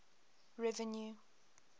revenue